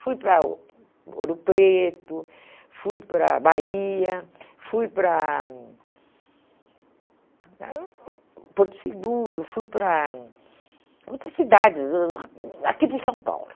Fui para O Ouro Preto, fui para Bahia, fui para Porto Seguro, fui para outras cidades, hum aqui por São Paulo.